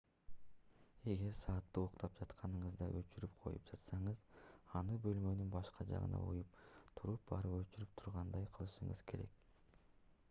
эгер саатты уктап жатканыңызда өчүрүп коюп жатсаңыз аны бөлмөнүн башка жагына коюп туруп барып өчүрө тургандай кылышыңыз керек